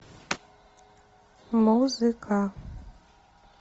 музыка